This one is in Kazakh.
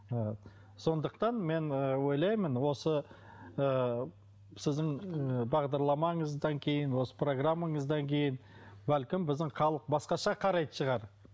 ы сондықтан мен ы ойлаймын осы ыыы сіздің ы бағдарламыңыздан кейін осы программаңыздан кейін бәлкім біздің халық басқаша қарайтын шығар